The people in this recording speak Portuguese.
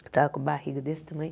Eu estava com barriga desse tamanho.